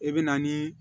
I bɛ na ni